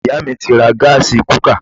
Iyá mi ti ra gásí kukà